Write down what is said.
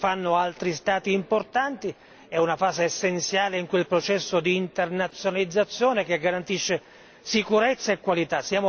Lo fanno altri Stati importanti, è una fase essenziale in quel processo di internazionalizzazione che garantisce sicurezza e qualità.